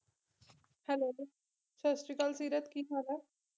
Hello ਸਤਿ ਸ਼੍ਰੀ ਅਕਾਲ ਸੀਰਤ ਕੀ ਹਾਲ ਐ